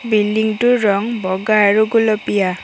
Building টোৰ ৰং বগা আৰু গুলপীয়া।